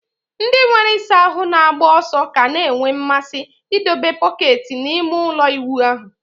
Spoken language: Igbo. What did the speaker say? Ndị nwere ịsa ahụ na-agba ọsọ ka na-enwe mmasị ịdebe bọket n'ime ụlọ ịwụ ahụ